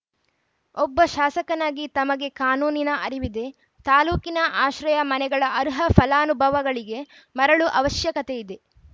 ಒಬ್ಬ ಶಾಸಕನಾಗಿ ತಮಗೆ ಕಾನೂನಿನ ಅರಿವಿದೆ ತಾಲೂಕಿನ ಆಶ್ರಯ ಮನೆಗಳ ಅರ್ಹ ಫಲಾನುಭಗಳಿಗೆ ಮರಳು ಅವಶ್ಯಕತೆ ಇದೆ